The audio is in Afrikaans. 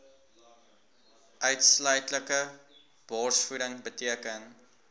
uitsluitlike borsvoeding beteken